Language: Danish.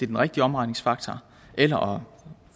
den rigtige omregningsfaktor eller